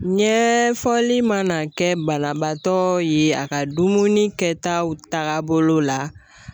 Ɲɛɛfɔli mana kɛ banabaatɔ ye a ka dumuni kɛtaw tagabolo la